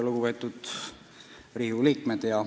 Lugupeetud Riigikogu liikmed!